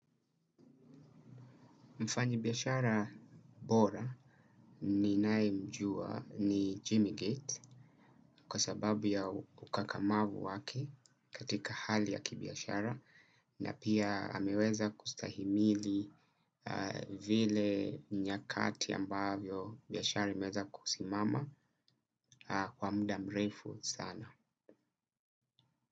Mfanyi biashara bora ninaemjua ni Jimmy Gates kwa sababu ya ukakamavu wake katika hali ya kibiashara na pia ameweza kustahimili vile nyakati ambavyo biashara imeweza kusimama kwa muda mrefu sana.